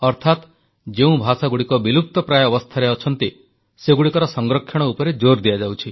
ଅର୍ଥାତ ଯେଉଁ ଭାଷାଗୁଡ଼ିକ ବିଲୁପ୍ତ ପ୍ରାୟ ଅବସ୍ଥାରେ ଅଛନ୍ତି ସେଗୁଡ଼ିକର ସଂରକ୍ଷଣ ଉପରେ ଜୋର ଦିଆଯାଉଛି